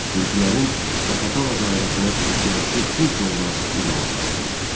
Gürcülərin Zaqatala dairəsinə iddiası dinç yolla nizama salındı.